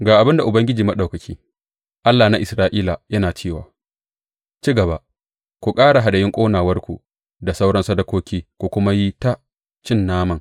Ga abin da Ubangiji Maɗaukaki, Allah na Isra’ila yana cewa ci gaba, ku ƙara hadayun ƙonawarku da sauran sadakoki ku kuma yi ta cin naman!